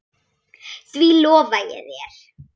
Því lofa ég þér